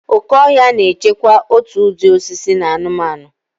Oke ọhịa na-echekwa òtù ụdị osisi na anụmanụ.